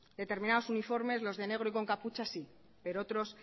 determinados uniformes los de negro y con capucha sí pero otros